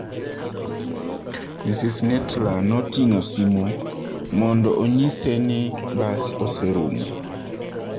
Ms. Nittla noting'o simu mondo onyise ni bas oserumo.